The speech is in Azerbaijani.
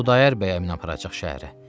Xudayar bəy aparacaq şəhərə.